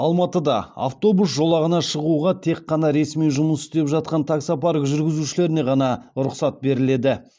алматыда автобус жолағына шығуға тек қана ресми жұмыс істеп жатқан таксопарк жүргізушілеріне ғана рұқсат беріледі